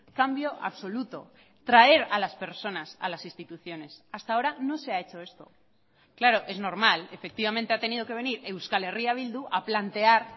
cambio absoluto traer a las personas a las instituciones hasta ahora no se ha hecho esto claro es normal efectivamente ha tenido que venir euskal herria bildu a plantear